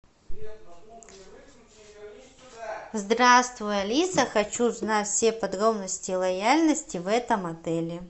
здравствуй алиса хочу узнать все подробности лояльности в этом отеле